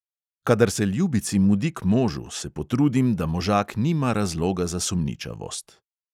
Kadar se ljubici mudi k možu, se potrudim, da možak nima razloga za sumničavost.